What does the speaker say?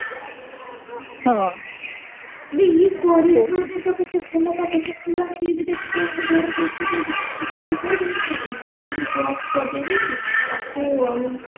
ହଁ ବେ ଇଏ କରିଶ୍ମା ବି ତ କେତେ ଭଲ ପାଠ ପଢୁଥିଲା ସିଏ ବି ଦେଖୁନ ଘରେ ବସିଛି ବେ ଶୁଣିଥିଲି କଉଠି ସେ SBI ରେ job ବଜେଇ ଦେଇଛି ତାକୁ ଆଉ